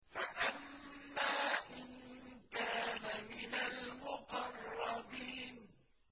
فَأَمَّا إِن كَانَ مِنَ الْمُقَرَّبِينَ